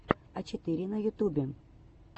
а четыре на ютубе